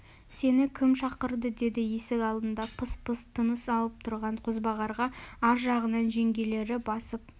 сені кім шақырды деді есік алдында пыс-пыс тыныс алып тұрған қозбағарға ар жағынан жеңгелері басып